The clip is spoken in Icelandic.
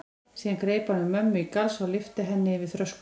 Síðan greip hann um mömmu í galsa og lyfti henni yfir þröskuldinn.